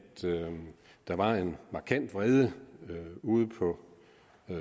der var en markant vrede ude på